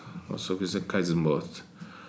вот сол кезде кайдзен болады